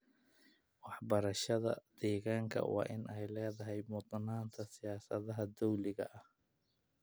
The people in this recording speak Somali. Waxbarashada deegaanka waa in ay leedahay mudnaanta siyaasadaha dowliga ah.